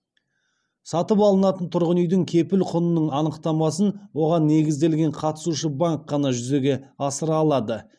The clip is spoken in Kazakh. сатып алынатын тұрғын үйдің кепіл құнының анықтамасын оған негізделген қатысушы банк қана жүзеге асыра алады